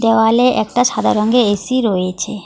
দেওয়ালে একটা সাদা রঙ্গের এ_সি রয়েছে।